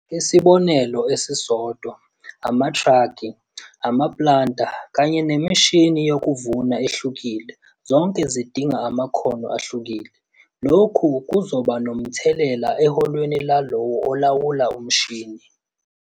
Isibonelo esisodwa - amatraki, amaplanter kanye nemishini yokuvuna ehlukile zonke zidinga amakhono ahlukile - lokhu kuzoba nomthelela eholweni lalowo olawula umshini.